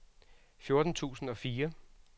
fjorten tusind og fire